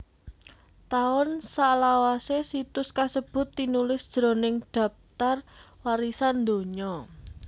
Taun salawasé situs kasebut tinulis jroning Dhaptar Warisan Donya